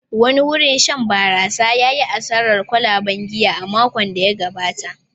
Wani wurin shan barasa ya yi asarar kwalaben giya a makon da ya gabata.